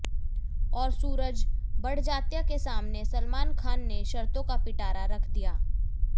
और सूरज बड़जात्या के सामने सलमान खान ने शर्तों का पिटारा रख दिया